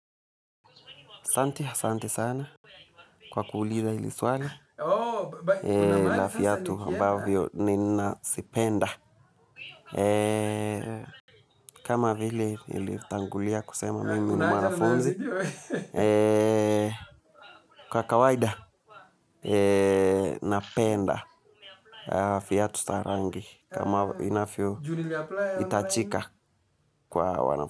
Asanti asanti sana kwa kuuliza hili swali la viatu ambavyo nina zipenda. Kama vile nilitangulia kusema mimi ni mwanafunzi, kwa kawaida napenda viatu za rangi kama inavyo hitajika kwa wanafyo.